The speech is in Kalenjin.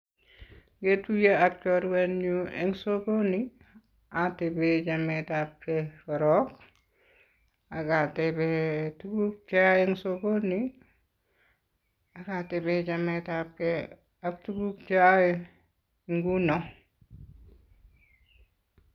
Ngetuiye ak chorwenyu eng sokoni atebe chemetab ge korok akatebe tuguuk che yoe eng sokoni ake tebee chametabge ak tuguuk cheyoe nguno.